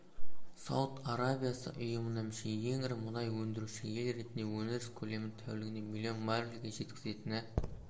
сауд арабиясы ұйымына мүше ең ірі мұнай өндіруші ел ретінде өндіріс көлемін тәулігіне млн баррельге жеткізетіні